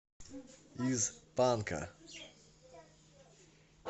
из танка